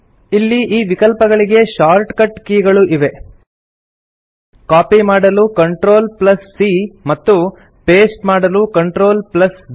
ಇಲ್ಲಿ ಈ ವಿಕಲ್ಪಗಳಿಗೆ ಶಾರ್ಟ್ಕಟ್ ಕೀ ಗಳೂ ಇವೆ ಕಾಪಿ ಮಾಡಲು CTRLC ಮತ್ತು ಪಾಸ್ಟೆ ಮಾಡಲು CTRLV